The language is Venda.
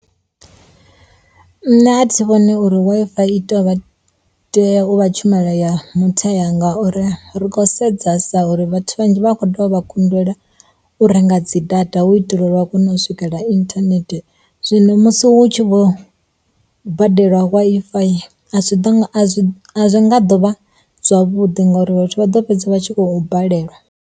Nṋe a thi vhoni uri Wi-Fi to vha tea u vha tshumelo ya muthethe ngauri ri khou sedzesa uri vhathu vhanzhi vha a kho ḓovha kundela u renga dzi data hu u itela uri vha kone u swikelela internet, zwino musi hu tshi vho badelwa Wi-Fi a zwi nga do vha zwavhuḓi ngauri vhathu vha ḓo fhedza vha tshi khou balelwa.